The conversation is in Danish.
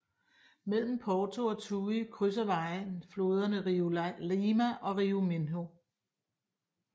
Mellem Porto og Tui krydser vejen floderne Rio Lima og Rio Minho